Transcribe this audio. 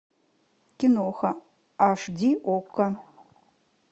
киноха аш ди окко